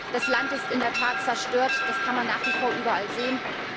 Das Land ist in der Tat zerstört, das kann man nach wie vor überall sehen.